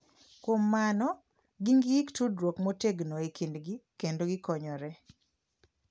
Kuom mano, gin gi tudruok motegno e kindgi kendo gikonyore.